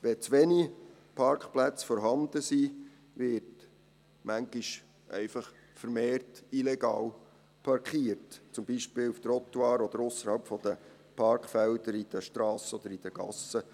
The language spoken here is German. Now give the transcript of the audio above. Wenn zu wenig Parkplätze vorhanden sind, wird manchmal einfach vermehrt illegal parkiert, zum Beispiel auf Trottoirs oder ausserhalb der Parkfelder auf den Strassen oder in den Gassen.